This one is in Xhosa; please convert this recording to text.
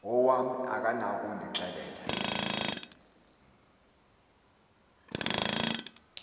wam akanako ukundixelela